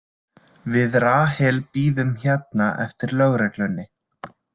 Við Rahel bíðum hérna eftir lögreglunni.